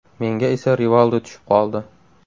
Menga esa Rivaldo tushib qoldi.